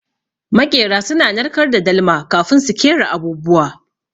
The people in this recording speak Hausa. Maƙera suna narkar da dalma kafin su kera abubuwa.